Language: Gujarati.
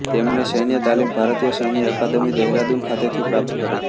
તેમણે સૈન્ય તાલીમ ભારતીય સૈન્ય અકાદમિ દહેરાદુન ખાતેથી પ્રાપ્ત કરી